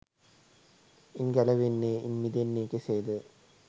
ඉන් ගැලවෙන්නේ ඉන් මිදෙන්නේ කෙසේද?